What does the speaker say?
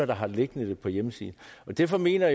der har det liggende på hjemmesiden og derfor mener